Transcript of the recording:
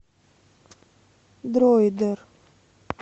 дроидер